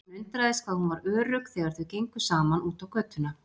Hann undraðist hvað hún var örugg þegar þau gengu saman út á götuna.